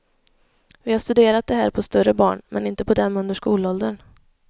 Vi har studerat det här på större barn, men inte på dem under skolåldern.